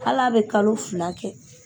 Al'a be kalo fila kɛ